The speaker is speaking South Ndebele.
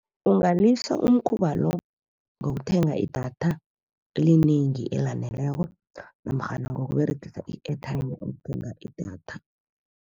Ungalisa umkhuba lo, ngokuthenga idatha elinengi elaneleko namkghana ngokUberegisa i-airtime ukuthenga idatha.